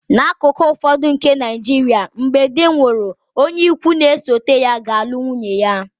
N’akụkụ ụfọdụ nke Nigeria, mgbe di nwụrụ, onye ikwu n'esote ya ga-alụ nwunye ya